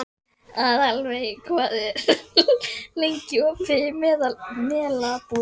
Aðalveig, hvað er lengi opið í Melabúðinni?